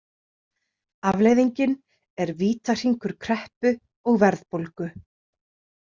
Afleiðingin er vítahringur kreppu og verðbólgu.